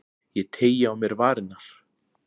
Ég teygi á mér varirnar.